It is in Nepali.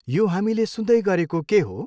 यो हामीले के सुन्दै गरेको के हो?